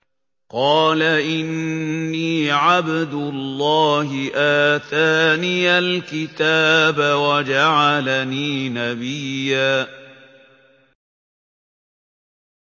قَالَ إِنِّي عَبْدُ اللَّهِ آتَانِيَ الْكِتَابَ وَجَعَلَنِي نَبِيًّا